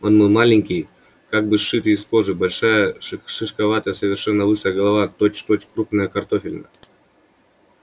он был маленький как бы сшитый из кожи большая шишковатая совершенно лысая голова точь-в-точь крупная картофелина